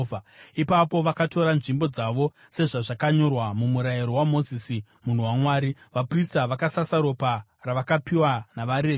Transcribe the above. Ipapo vakatora nzvimbo dzavo sezvazvakanyorwa muMurayiro waMozisi munhu waMwari. Vaprista vakasasa ropa ravakapiwa navaRevhi.